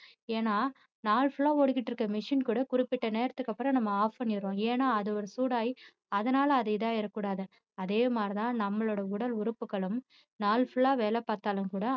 ஏன்னா நாள் full ஆ ஓடிக்கிட்டு இருக்கிற machine கூட குறிப்பிட்ட நேரத்துக்கு அப்பறம் நம்ம off பண்ணிடுறோம் ஏன்னா அது ஒரு சூடாகி அதனால அது இதாகிட கூடாது அதே மாதிரிதான் நம்மளோட உடல் உறுப்புக்களும் நாள் full ஆ வேலை பார்த்தாலும் கூட